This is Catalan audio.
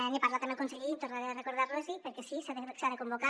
n’he parlat amb el conseller i tornaré a recordar los ho perquè sí s’ha de convocar